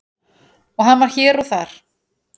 og hann var hér og þar.